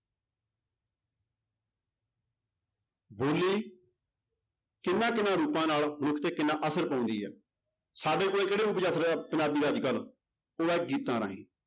ਬੋਲੀ ਕਿਹਨਾਂ ਕਿਹਨਾਂ ਰੂਪਾਂ ਨਾਲ ਮਨੁੱਖ ਤੇ ਕਿੰਨਾ ਅਸਰ ਪਾਉਂਦੀ ਹੈ, ਸਾਡੇ ਕੋਲ ਕਿਹੜਾ ਰੂਪ ਪੰਜਾਬੀ ਦਾ ਅੱਜ ਕੱਲ੍ਹ ਉਹ ਹੈ ਗੀਤਾਂ ਰਾਹੀਂ